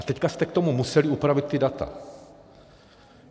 A teď jste k tomu museli upravit ta data.